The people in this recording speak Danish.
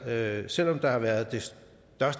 at selv om der har været